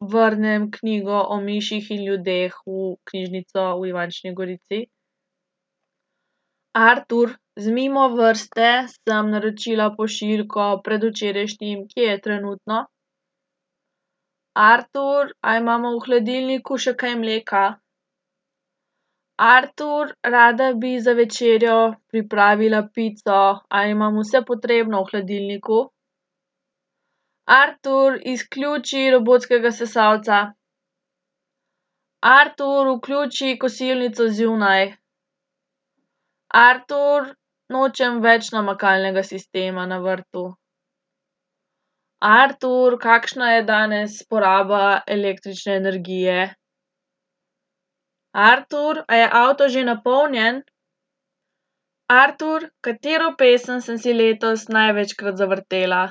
vrnem knjigo O miših in ljudeh v knjižnico v Ivančni Gorici? Artur, z Mimovrste sem naročila pošiljko predvčerajšnjim. Kje je trenutno? Artur, a imamo v hladilniku še kaj mleka? Artur, rada bi za večerjo pripravila pico, a imam vse potrebno v hladilniku? Artur, izključi robotskega sesalca. Artur, vključi kosilnico zunaj. Artur, nočem več namakalnega sistema na vrtu. Artur, kakšna je danes poraba električne energije? Artur, a je avto že napolnjen? Artur, katero pesem sem si letos največkrat zavrtela?